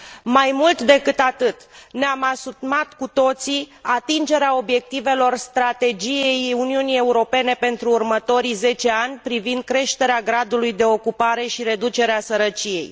Mai mult decât atât, ne am asumat cu toții atingerea obiectivelor strategiei Uniunii Europene pentru următorii zece ani privind creșterea gradului de ocupare și reducere a sărăciei.